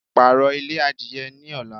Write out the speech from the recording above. Pààrọ̀ ilé adìye ní ọ̀la